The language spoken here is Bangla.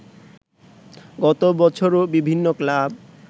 গত বছরও বিভিন্ন ক্লাব